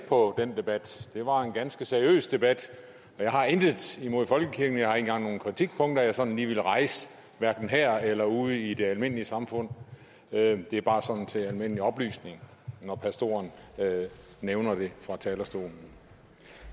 på den debat det var en ganske seriøs debat jeg har intet imod folkekirken og jeg har ikke engang nogen kritikpunkter jeg sådan lige vil rejse her eller ude i det almindelige samfund det er bare til almindelig oplysning når pastoren nævner det fra talerstolen